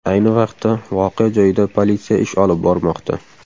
Ayni vaqtda voqea joyida politsiya ish olib bormoqda.